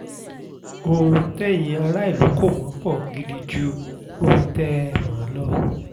ohun tẹ́yin aráàlú kò mọ̀ pó gidi ju ohun tẹ́ ẹ mọ̀ lọ